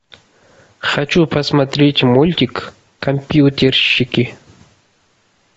хочу посмотреть мультик компьютерщики